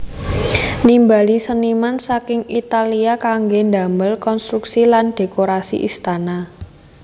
Nimbali seniman saking Italia kanggé damel konstruksi lan dhékorasi istana